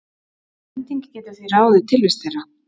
Hending getur því ráðið tilvist þeirra.